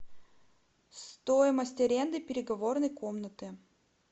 стоимость аренды переговорной комнаты